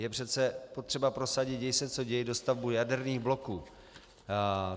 Je přece potřeba prosadit děj se co děj dostavbu jaderných bloků.